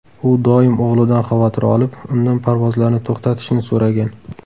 U doim o‘g‘lidan xavotir olib, undan parvozlarni to‘xtatishni so‘ragan.